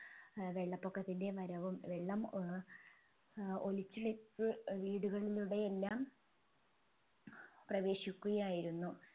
ഏർ വെള്ളപൊക്കത്തിൻെറ വരവും വെള്ളം ഏർ ഒലിച്ചിലേക്ക് വീടുകളിലൂടെ എല്ലാം പ്രവേശിക്കുകയായിരുന്നു